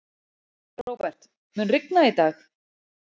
Róbert, mun rigna í dag?